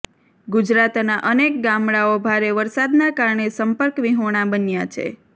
ગુજરાતના અનેક ગામડાઓ ભારે વરસાદના કારણે સંપર્કવિહોણા બન્યા છે